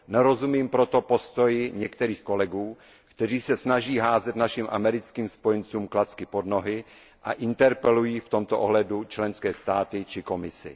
Nerozumím proto postoji některých kolegů, kteří se snaží házet našim americkým spojencům klacky pod nohy a interpelují v tomto ohledu členské státy či Komisi.